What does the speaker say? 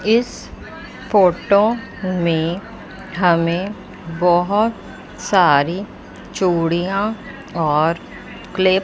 इस फोटो में हमें बहोत सारी चूड़ियां और क्लिप --